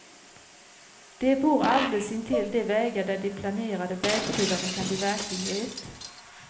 De bor alldeles intill de vägar där de planerade vägtullarna kan bli verklighet.